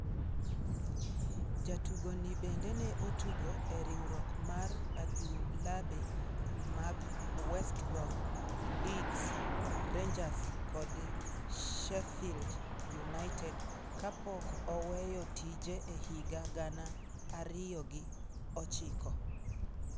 Jatugo ni bende ne otugo e riwruok mar adhulabe mag West Brom, Leeds, Rangers kod Sheffield United, kapok oweyo tije e higa gana ariyo gi ochiko.